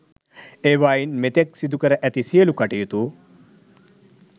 ඒවායින් මෙතෙක් සිදුකර ඇති සියලු කටයුතු